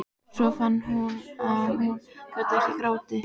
Svo fann hún að hún gat ekki grátið.